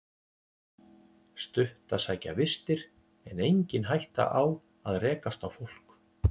Stutt að sækja vistir en engin hætta á að rekast á fólk